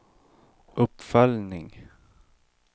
uppföljning